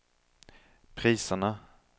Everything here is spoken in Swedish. priserna